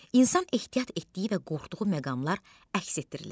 İnsan ehtiyat etdiyi və qorxduğu məqamlar əks etdirilir.